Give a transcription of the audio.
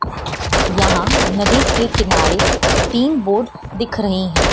यहां नदी के किनारे तीन बोर्ड दिख रही हैं।